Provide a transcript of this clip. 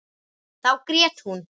Þá grét hún.